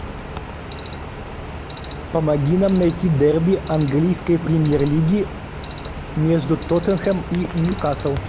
помоги нам найти дерби английской премьер лиги между тоттенхэм и ньюкасл